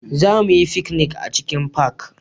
Za mu yi fikinik a cikin fak